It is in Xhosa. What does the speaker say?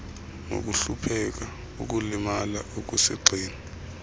nokuhlupheka ukulimala okusigxina